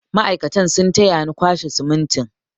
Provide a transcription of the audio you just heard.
Mai'aikatan sun taya ni kwashe simintin.